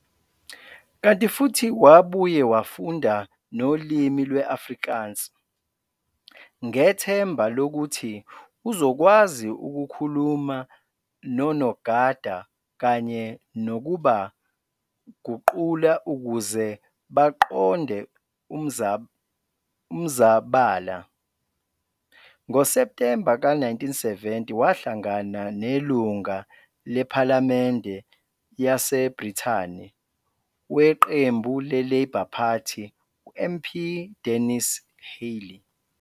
Kanti futhi wabuye wafunda nolimi lwe-Afrikaans, ngethemba lokuthi uzokwazi ukukhuluma nonogada kanye nokuba guqula ukuze baqonde umzabala. NgoSeptembe ka-1970, wahlangana nelunga lephalamende yaseBrithani weqembu le-Labour Party MP Dennis Healey.